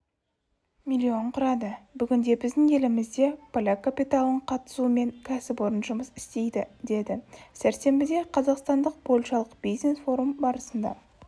миллион құрады бүгінде біздің елімізде поляк капиталының қатысуымен кәсіпорын жұмыс істейді деді сәрсенбідеқазақстандық-польшалық бизнес-форум барысында